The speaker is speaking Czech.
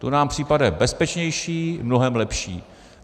To nám připadá bezpečnější, mnohem lepší.